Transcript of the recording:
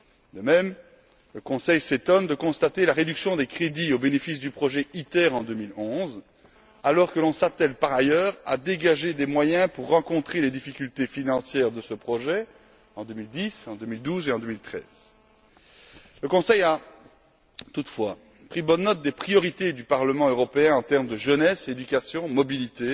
De même, le Conseil s'étonne de constater la réduction des crédits au bénéfice du projet ITER en 2011, alors que l'on s'attelle par ailleurs à dégager des moyens pour faire face aux difficultés financières de ce projet en 2010, en 2012 et en 2013. Le Conseil a, toutefois, pris bonne note des priorités du Parlement européen en termes de jeunesse, d'éducation, de mobilité,